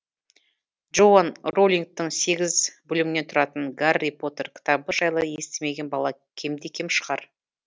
джоан роулингтің сегіз бөлімнен тұратын гарри поттер кітабы жайлы естімеген бала кемде кем шығар